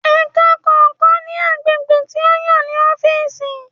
Ẹka kọọkan ni agbegbe ti o yan ni ọfiisi.